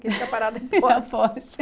Que fica parada poste. Poste